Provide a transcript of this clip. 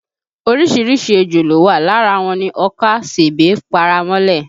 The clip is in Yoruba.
Orísìírísìí ejò ló wà, lára wọn ni ọkà, sèbé, paramọ́lẹ̀